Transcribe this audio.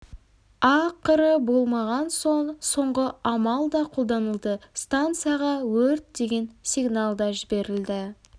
ақыры болмаған соң соңғы амал да қолданылды станцияға өрт деген сигнал да жіберілді